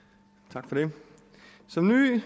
tak for det som